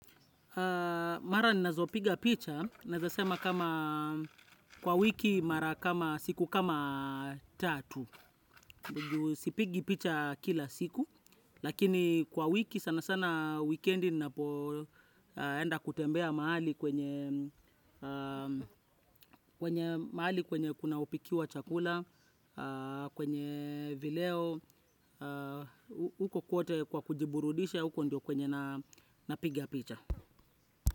Mara ninazopiga picha naeza sema kwa wiki mara kama siku kama tatu. Sipigi picha kila siku lakini kwa wiki sana sana wikendi ninapoenda kutembea mahali kwenye mahali kwenye kunaopikiwa chakula kwenye vileo huko kwote kwa kujiburudisha huko ndio kwenye napiga picha.